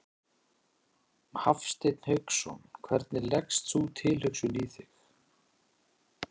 Hafsteinn Hauksson: Hvernig leggst sú tilhugsun í þig?